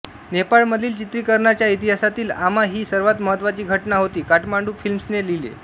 नेपाळमधील चित्रीकरणाच्या इतिहासातील आमा ही सर्वात महत्वाची घटना होती काठमांडू फिल्म्सने लिहिले